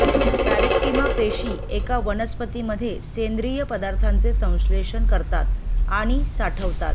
पॅरेक्टिमा पेशी एका वनस्पतीमध्ये सेंद्रीय पदार्थांचे संश्लेषण करतात आणि साठवतात